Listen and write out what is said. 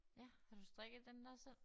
Ja har du strikket den dér selv?